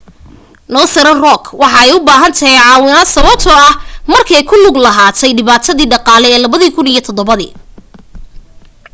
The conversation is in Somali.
northern rock waxa ay u baahatay caawinaad sababto ah markee ku lug lahaate dhibaatadii dhaqaale ee 2007